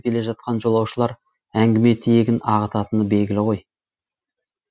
келе жатқан жолаушылар әңгіме тиегін ағытатыны белгілі ғой